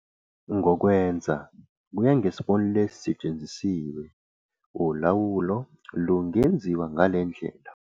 Ngokwenza, kuya ngesibonelo esisetshenzisiwe, ulawulo lungenziwa ngale ndlela.